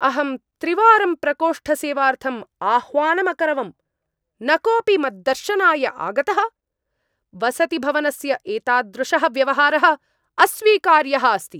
अहं त्रिवारं प्रकोष्ठसेवार्थम् आह्वानम् अकरवम्, न कोऽपि मद्दर्शनाय आगतः! वसतिभवनस्य एतादृशः व्यवहारः अस्वीकार्यः अस्ति।